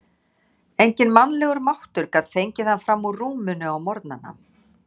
Enginn mannlegur máttur gat fengið hann fram úr rúminu á morgnana.